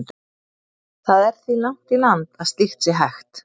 Það er því langt í land að slíkt sé hægt.